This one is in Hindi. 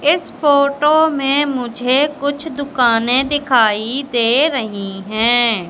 इस फोटो में मुझे कुछ दुकानें दिखाई दे रही हैं।